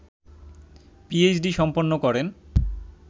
PhD সম্পন্ন করেন